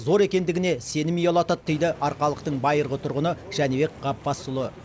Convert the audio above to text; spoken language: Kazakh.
зор екендігіне сенім ұялатады дейді арқалықтың байырғы тұрғыны жәнібек ғапбасұлы